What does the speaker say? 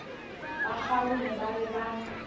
ba kgarume ba be ba